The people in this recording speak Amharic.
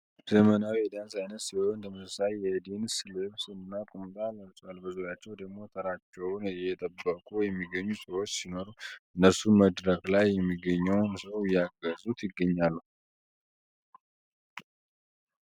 ዘመናዊ የዳንስ አይነት ሲሆን ተመሳሳይ የድንስ ልብስ እና ቁምጣ ለብሰዋል በዙርያቸው ደሞ ተራቸውን እየጠበቁ የሚገኙ ሰዎች ሲኖሩ እነሱም መድረክ ላይ የሚገኘውን ሰው እያገዙት ይገኛሉ።